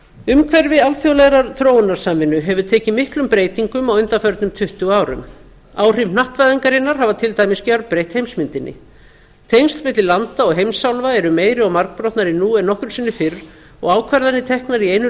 umhverfi alþjóðlegrar þróunarsamvinnu hefur tekið miklum breytingum á undanförnum tuttugu árum áhrif hnattvæðingarinnar hafa til dæmis gjörbreytt heimsmyndinni tengsl milli landa og heimsálfa eru meiri og margbrotnari nú en nokkru sinni fyrr og ákvarðanir teknar í einu